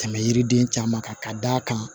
Tɛmɛ yiriden caman kan ka d'a kan